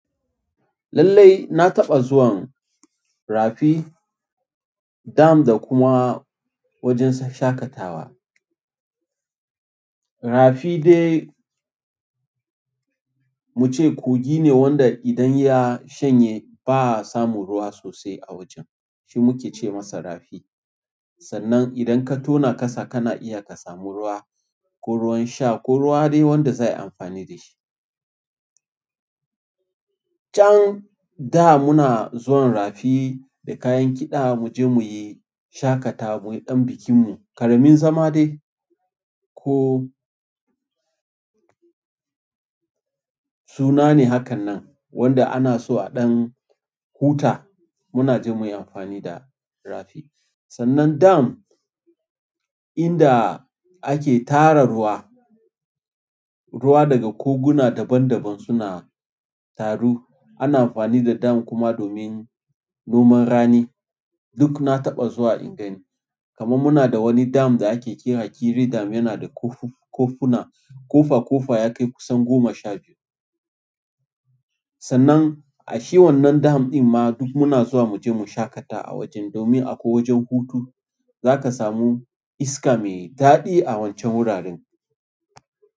Lallai na taɓa zuwan rafi, dam da kuma wajen shaƙatawa. Rafi dai muce kogi ne wanda idan ya shanye ba'a samun ruwa sosai a wajen. Shi muke ce masa rafi. Sannan idan ka tona kasa kana iya ka samu ruwa, ko ruwan sha ko ruwa dai wanda zai yi amfani da shi. Can da muna zuwan rafi da kayan kiɗa mu je mu yi shaƙatawa, mu yi ɗan bikinmu, ƙaramin zama dai ko suna ne hakan nan wanda ana so a ɗan huta, muna jin muyi amfani da rafi. Sannan dam, inda ake tara ruwa, ruwa daga koguna daban daban suna taru. Ana amfani da dam kuma domin noman rani. Duk na taɓa zuwa ingani. Kaman muna da wani dam da ake kiran kiri dam yana da kofuna, ƙofa ƙofa ya kai kusan goma sha biyu. Sannan a shi wannan dam din ma duk muna zuwa muje mu shaƙata a wajen domin akwai wajen hutu. Za ka samu iska mai daɗi a wancan wuraren.